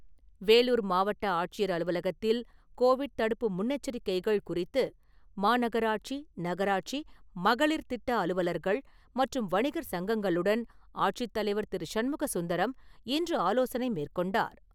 வேலூர் மாவட்ட ஆட்சியர் அலுவலகத்தில் கோவிட் தடுப்பு முன்னெச்சரிக்கைகள் குறித்து, மாநகராட்சி, நகராட்சி, மகளிர் திட்ட அலுவலர்கள், மற்றும் வணிகர் சங்கங்களுடன் ஆட்சித்தலைவர் திரு. ஷண்முக சுந்தரம் இன்று ஆலோசனை மேற்கொண்டார்.